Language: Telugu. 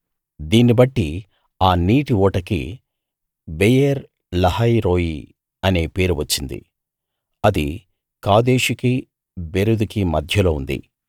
దీన్ని బట్టి ఆ నీటి ఊటకి బెయేర్‌ లహాయి రోయి అనే పేరు వచ్చింది అది కాదేషుకీ బెరెదుకీ మధ్యలో ఉంది